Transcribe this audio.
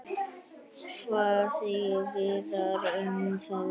Hvað segir Viðar um það?